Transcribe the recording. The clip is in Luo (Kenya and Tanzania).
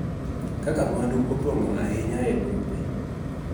Kaka mwandu opong�o ahinya e bombe.